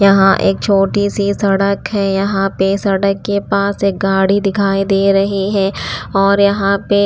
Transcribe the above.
यहाँ एक छोटी सी सड़क है यहाँ पे सड़क के पास एक गाड़ी दिखाई दे रही है और यहाँ पे--